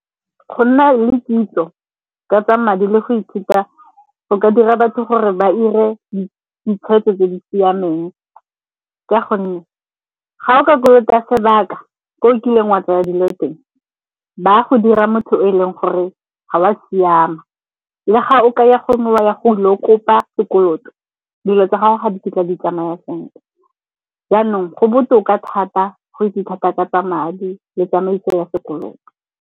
Go nna le kitso ka tsa madi le go ithuta go ka dira batho gore ba 'ire ditshwetso tse di siameng ka gonne ga o ka kolota sebaka ko o kileng wa tsaya dilo teng, ba go dira motho o e leng gore ga o a siama. Le ga o kaya gongwe wa ya go ilo kopa sekoloto dilo tsa gago ga di kitla di tsamaya sentle. Jaanong go botoka thata go itse thata ka tsa madi le tsamaiso ya sekoloto.